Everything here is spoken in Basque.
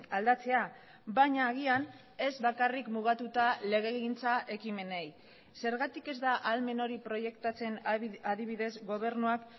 aldatzea baina agian ez bakarrik mugatuta legegintza ekimenei zergatik ez da ahalmen hori proiektatzen adibidez gobernuak